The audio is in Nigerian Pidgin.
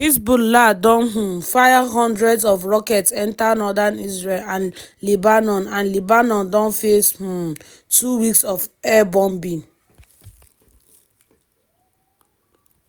hezbollah don um fire hundreds of rockets enta northern israel and lebanon and lebanon don face um two weeks of air bombing.